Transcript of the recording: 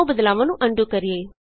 ਆਉ ਬਦਲਾਵਾਂ ਨੂੰ ਅਨਡੂ ਕਰੀਏ